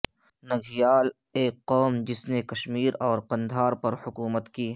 نگیال ایک قوم جس میں کشمیر اور قندھار پر حکومت کی